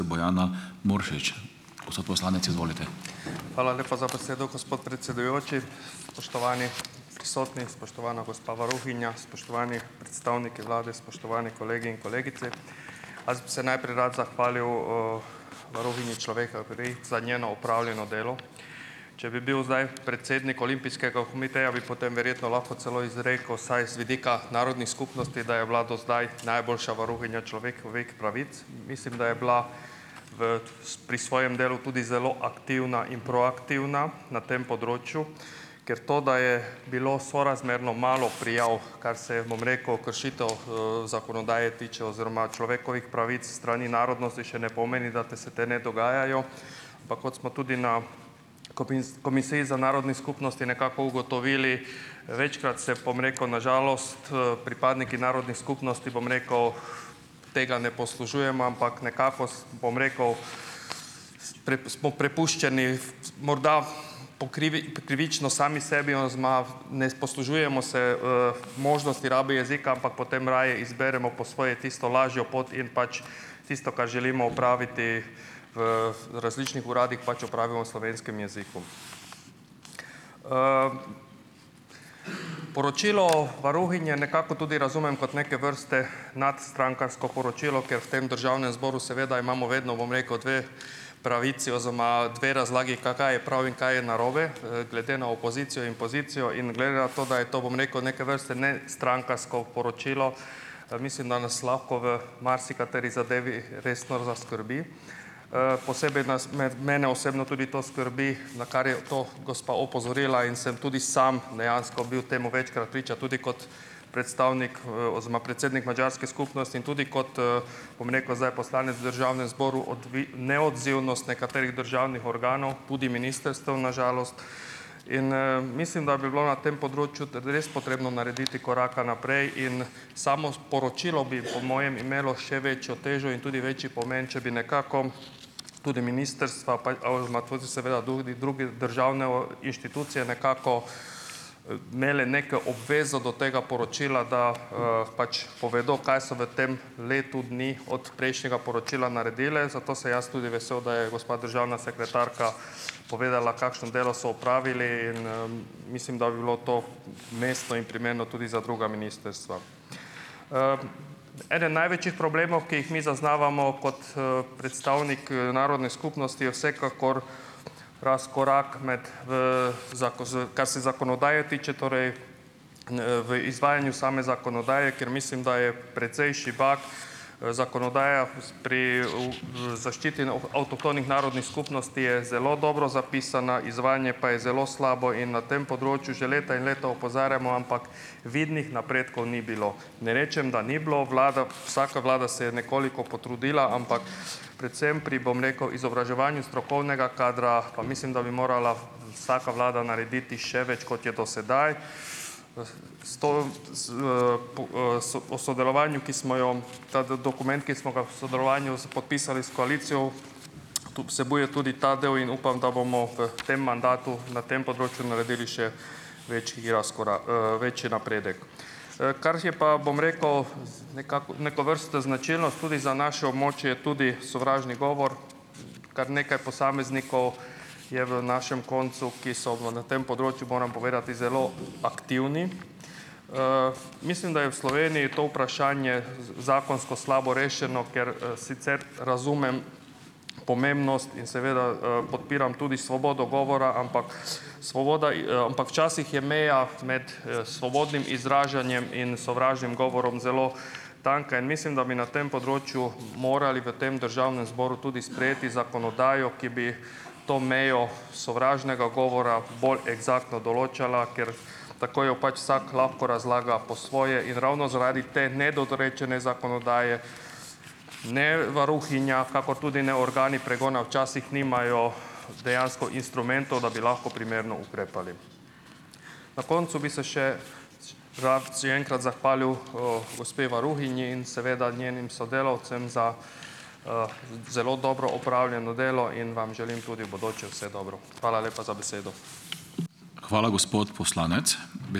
Hvala lepa za besedo, gospod predsedujoči. Spoštovani prisotni, spoštovana gospa varuhinja, spoštovani predstavniki vlade, spoštovani kolegi in kolegice! Jaz bi se najprej rad zahvalil, varuhinji človekovih pravic za njeno opravljeno delo. Če bi bil zdaj predsednik olimpijskega komiteja, bi potem verjetno lahko celo izrekel vsaj z vidika narodnih skupnosti, da je bila do zdaj najboljša varuhinja človekovih pravic. Mislim, da je bila v pri svojem delu tudi zelo aktivna in proaktivna na tem področju, ker to, da je bilo sorazmerno malo prijav, kar se, bom rekel, kršitev, zakonodaje tiče oziroma človekovih pravic s strani narodnosti, še ne pomeni, da te se te ne dogajajo, ampak kot smo tudi na Komisiji za narodni skupnosti nekako ugotovili, večkrat se, bom rekel, na žalost, pripadniki narodnih skupnosti, bom rekel, tega ne poslužujemo, ampak nekako s, bom rekel, s smo prepuščeni morda po krivi po krivično sami sebi oziroma ne poslužujemo se, možnosti rabe jezika, ampak potem raje izberemo po svoje tisto lažjo pot in pač tisto, kar želimo opraviti v različnih uradih, pač opravimo v slovenskem jeziku. Poročilo varuhinje nekako tudi razumem kot neke vrste nadstrankarsko poročilo, ker v tem državnem zboru seveda imamo vedno, bom rekel, dve pravici oziroma dve razlagi, kaj je prav in kaj je narobe, glede na opozicijo in pozicijo. In glede na to, da je to, bom rekel, neke vrste ne strankarsko poročilo, mislim, da nas lahko v marsikateri zadevi resno zaskrbi. Posebej nas med mene osebno tudi to skrbi, na kar je to gospa opozorila, in sem tudi sam dejansko bil temu večkrat priča, tudi kot predstavnik, oziroma predsednik madžarske skupnosti, in tudi kot, bom rekel, zdaj poslanec v državnem zboru, neodzivnost nekaterih državnih organov, tudi ministrstev, na žalost. In, mislim, da bi bilo na tem področju, da bi res potrebno narediti koraka naprej. In samo sporočilo bi po mojem imelo še večjo težo in tudi večji pome, če bi nekako tudi ministrstva pa oziroma tudi seveda drugi, druge državne inštitucije nekako, imele neke obvezo do tega poročila, da, pač povedo, kaj so v tem letu dni od prejšnjega poročila naredile. Zato sem jaz tudi vesel, da je gospa državna sekretarka povedala, kakšno delo so opravili, in, mislim, da bi bilo to umestno in primerno tudi za druga ministrstva. Eden največjih problemov, ki jih mi zaznavamo kot, predstavnik, narodne skupnosti, je vsekakor razkorak med, z kar se zakonodaje tiče, torej, v izvajanju same zakonodaje, ker mislim, da je precej šibka, zakonodaja, pri v v zaščiti avtohtonih narodnih skupnosti je zelo dobro zapisana, izvajanje pa je zelo slabo. In na tem področju že leta in leta opozarjamo, ampak vidnih napredkov ni bilo. Ne rečem, da ni bilo, vlada, vsaka vlada se je nekoliko potrudila, ampak predvsem pri, bom rekel, izobraževanju strokovnega kadra pa mislim, da bi morala vsaka vlada narediti še več, kot je do sedaj. S to s, s o sodelovanju, ki smo jo ta dokument, ki smo ga v sodelovanju s podpisali s koalicijo, tudi vsebuje tudi ta del, in upam, da bomo v tem mandatu na tem področju naredili še večji razkorak, večji napredek. Kar je pa, bom rekel, nekako neke vrste značilnost tudi za naše območje, je tudi sovražni govor. Kar nekaj posameznikov je v našem koncu, ki so v na tem področju, moram povedati, zelo aktivni. Mislim, da je v Sloveniji to vprašanje zakonsko slabo rešeno. Ker, sicer razumem pomembnost in seveda, podpiram tudi svobodo govora, ampak svoboda ampak včasih je imel med, svobodnim izražanjem in sovražnim govorom zelo tanka. In mislim, da bi na tem področju morali v tem državnem zboru tudi sprejeti zakonodajo, ki bi to mejo sovražnega govora bolj eksaktno določala, ker tako jo pač vsak lahko razlaga po svoje. In ravno zaradi te nedorečene zakonodaje ne varuhinja kakor tudi ne organi pregona včasih nimajo dejansko instrumentov, da bi lahko primerno ukrepali. Na koncu bi se še rad še enkrat zahvalil, gospe varuhinji in seveda njenim sodelavcem za, zelo dobro opravljeno delo in vam želim tudi v bodoče vse dobro. Hvala lepa za besedo.